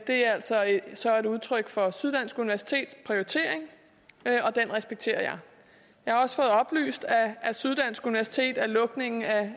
altså altså et udtryk for syddansk universitets prioritering og den respekterer jeg jeg har også fået oplyst af syddansk universitet at lukningen af